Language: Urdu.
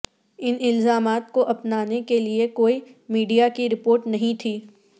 ان الزامات کو اپنانے کے لئے کوئی میڈیا کی رپورٹ نہیں تھی